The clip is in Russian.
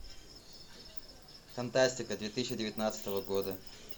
фантастика две тысячи девятнадцатого года